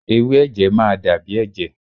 Ewé ẹ̀jẹ̀ máa dàbí ẹ̀jẹ̀